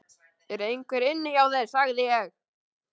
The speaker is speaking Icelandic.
ER EINHVER INNI HJÁ ÞÉR, SAGÐI ÉG?